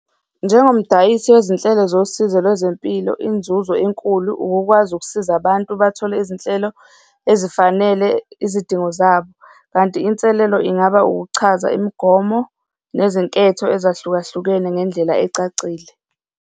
Njengomdayisi wezinhlelo zosizo lwezempilo, inzuzo enkulu ukukwazi ukusiza abantu bathole izinhlelo ezifanele izidingo zabo. Kanti inselelo ingaba ukuchaza imigomo nezinketho ezahlukahlukene ngendlela ecacile.